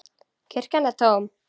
Kirkjan er tóm.